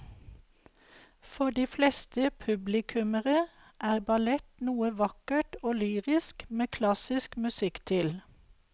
For de fleste publikummere er ballett noe vakkert og lyrisk med klassisk musikk til.